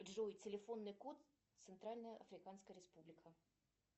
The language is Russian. джой телефонный код центральная африканская республика